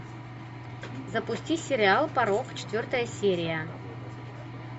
запусти сериал порок четвертая серия